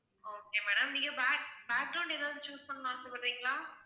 okay madam நீங்க back~ ஏதாவது choose பண்ணனும்னு ஆசைபடுறீங்களா?